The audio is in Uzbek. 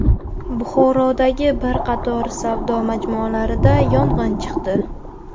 Buxorodagi bir qator savdo majmualarida yong‘in chiqdi .